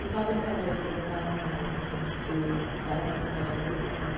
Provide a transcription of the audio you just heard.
E qual a brincadeira que você gostava mais, assim, que te traz uma memória gostosa?